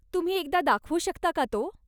तुम्ही एकदा दाखवू शकता का तो?